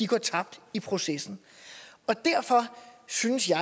går tabt i processen og derfor synes jeg